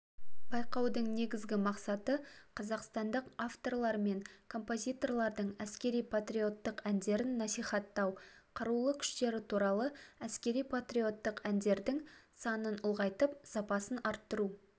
байқаудың негізгі мақсаты қазақстандық авторлар мен композиторлардың әскери-патриоттық әндерін насихаттау қарулы күштері туралы әскери-патриоттық әндердің санын ұлғайтып сапасын арттыру